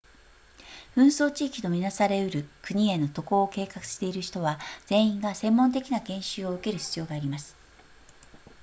紛争地域と見なされうる国への渡航を計画している人は全員が専門的な研修を受ける必要があります